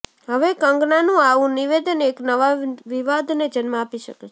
હવે કંગનાનું આવું નિવેદન એક નવા વિવાદને જન્મ આપી શકે છે